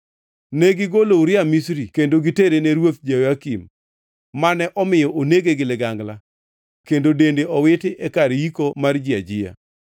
Negigolo Uria Misri kendo gitere ne Ruoth Jehoyakim, mane omiyo onege gi ligangla kendo dende owiti e kar yiko mar ji ajiya.)